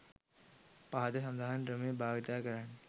පහත සඳහන් ක්‍රමය භාවිතා කරන්න.